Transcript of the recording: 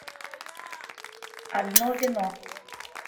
одно вино